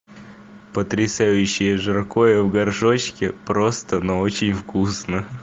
потрясающее жаркое в горшочке просто но очень вкусно